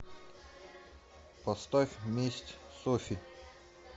поставь месть софи